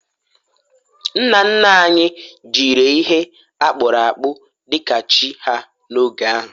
nna nna anyi jiri ihe akpu akpu dika chi ha n'oge ahu